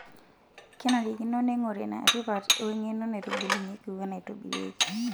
Kenarikino neing'ori enatipat weng'eno naitubulunyieki wenaitobirieki.